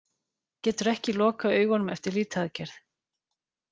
Getur ekki lokað augunum eftir lýtaaðgerð